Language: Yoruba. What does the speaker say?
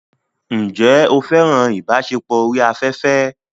Ǹjẹ́ o fẹ́ràn ìbáṣepọ̀ orí afẹ́fẹ́?